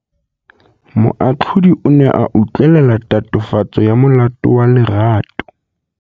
Moatlhodi o ne a utlwelela tatofatsô ya molato wa Lerato.